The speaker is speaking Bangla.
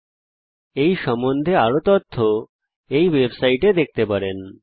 আপনি এই সম্বন্ধে আরও তথ্য httpspoken tutorialorgNMEICT Intro এই ওয়েবসাইটে দেখতে পারেন